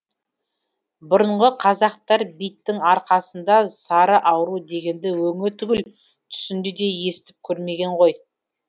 бұрынғы қазақтар биттің арқасында сары ауру дегенді өңі түгіл түсінде де естіп көрмеген ғой